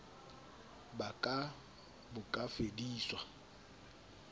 ba ka bo ka fediswa